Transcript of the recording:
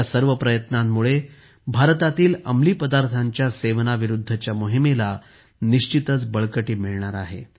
या सर्व प्रयत्नांमुळे भारतातील अंमली पदार्थांच्या सेवनाविरुद्धच्या मोहीमेला बळकटी मिळणार आहे